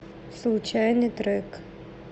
случайный трек